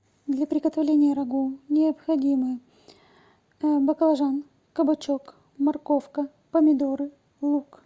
для приготовления рагу необходимы баклажан кабачок морковка помидоры лук